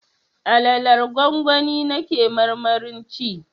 Alalar gwangwani na ke marmarin ci